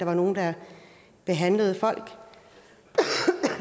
nogen der behandlede folk